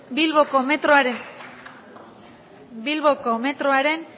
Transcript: bilboko metroaren